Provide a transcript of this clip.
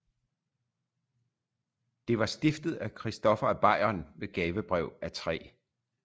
Det var stiftet af christoffer af bayern ved gavebrev af 3